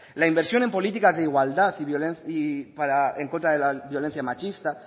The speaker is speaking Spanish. la inversión en políticas de igualdad y en contra de la violencia machista